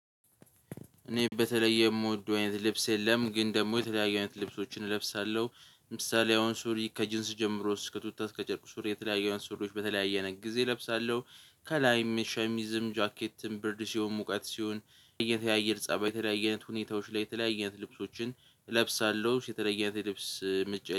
እኔ በተለየ የምወደው አይነት ልብስ የለም። ግን ደግሞ የተለያየ አይነት ልብሶችን እለብሳለሁ ምሳሌ አሁን ሱሪ ከጅንስ ጀምሮ እስከ ቱታ እስከ ጨርቁ ሱሪ የተለያዩ አንስር ሎች በተለያየ ነገር ጊዜ እለብሳለሁ። ከላይም ሻሚዝም ጃኬትም ብርድ ሲሆን ሙቀት ሲሆን የተያየ ልጽህ በተለያየ አይነት ሁኔታዎች ላይ የተለያየ አይነት ልብሶችን እለብሳለሁ። የተለየ ልብስ ምንጭ